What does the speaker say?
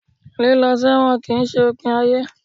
líló sẹwọ́n kí n se ipín ayé